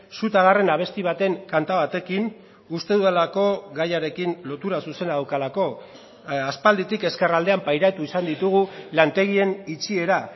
su ta garren abesti baten kanta batekin uste dudalako gaiarekin lotura zuzena daukalako aspalditik ezkerraldean pairatu izan ditugu lantegien itxiera